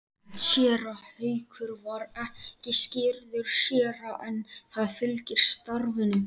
Séra Haukur var ekki skírður séra en það fylgir starfinu.